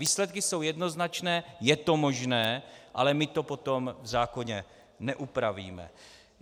Výsledky jsou jednoznačné, je to možné, ale my to potom v zákoně neupravíme.